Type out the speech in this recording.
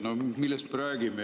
No millest me räägime?